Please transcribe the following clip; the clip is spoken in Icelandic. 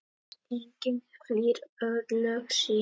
Enginn flýr örlög sín.